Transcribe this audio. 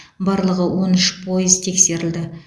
барлығы он үш пойыз тексерілді